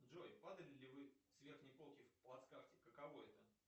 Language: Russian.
джой падали ли вы с верхней полки в плацкарте каково это